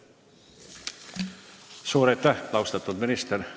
Suur aitäh, austatud minister!